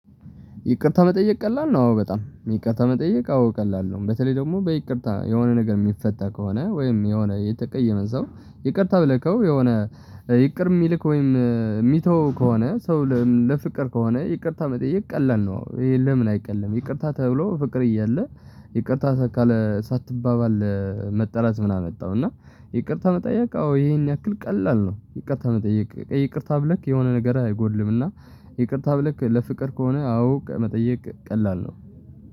ይቅርታ መጠየቅ ቀላል ነው፤ አዎ፣ በጣም። ይቅርታ መጠየቅ አዎ ቀላል ነው። በተለይ ደግሞ በይቅርታ የሆነ ነገር የሚፈታ ከሆነ፣ ወይም የሆነ የተቀየመ ሰው ይቅርታ ብለከው የሆነ ይቅር የሚልክ ወይም የሚተው ከሆነ፣ ሰው ለፍቅር ከሆነ ይቅርታ መጠየቅ ቀላል ነው። ይሄ ለምን አይቀልም? ይቅርታ ተብሎ ፍቅር እያለ ይቅርታ ሳትባባል መጣላት ምናምን አመጣው? እና ይቅርታ መጠያቅ አዎ ይሄን ያክል ቀላል ነው። ይቅርታ መጠየቅ፣ ይቅርታ ብለክ የሆነ ነገር አይጎድልምና ይቅርታ ብለክ ለፍቅር ከሆነ፣ አዎ መጠየቅ ቀላል ነው።